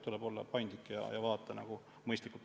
Tuleb olla paindlik ja lahendada asju mõistlikult.